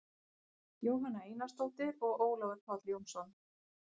jóhanna einarsdóttir og ólafur páll jónsson